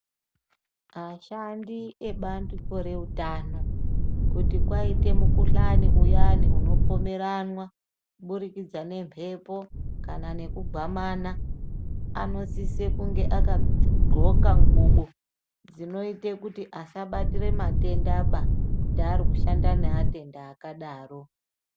Ashandi ebandiko reutano kuti kwaite mukuhlani uyani unopomoranwa kubudikidza ngemhepo kana ngekugumana anosise kunge akadxoka ngqubo dzinoite kuti asabatire matenda ba kuti ari kushanda neatenda akadaro.